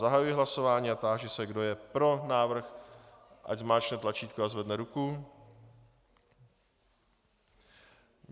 Zahajuji hlasování a táži se, kdo je pro návrh, ať zmáčkne tlačítko a zvedne ruku.